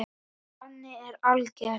Bannið er algert.